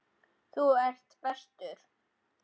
Þú ert bestur.